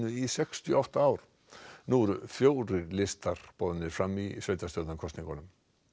í sextíu og átta ár nú eru fjórir listar boðnir fram í sveitarstjórnarkosningum